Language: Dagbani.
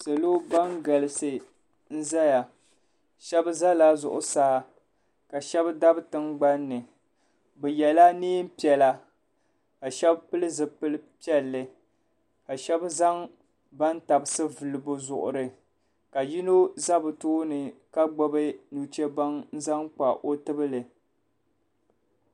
Salo ban galisi n zaya ahɛba zala Zuɣusaa ka ahɛba dabi tingbani ni bi yiɛla nɛɛn piɛlla ka shɛbi pili zipili piɛli ka shɛba zaŋ bantabisi vili bi zuɣuri ka yino za bi tooni ka gbubi nuchɛbaŋa n zaŋ kpa o tibili.